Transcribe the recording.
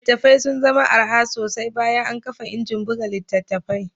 Littattafai sun zama araha sosai bayan an kafa injin buga littattafai